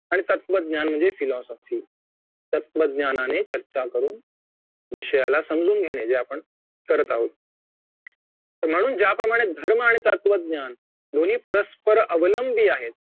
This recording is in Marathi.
आणि तत्वज्ञान म्हणजे philosophy तत्त्वज्ञानाने चर्चा करुन विषयाला समजून घेणे जे आपण करत आहोत आणि म्हणून ज्याप्रमाणे धर्म आणि तत्वज्ञान दोन्ही परस्पर अवलंबी आहेत